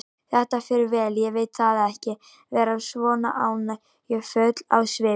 Þetta fer vel, ég veit það, ekki vera svona áhyggjufull á svipinn.